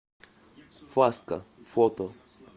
фаска фото